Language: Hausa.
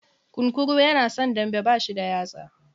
Kunkuru yana son dambe, bashi da yatsa.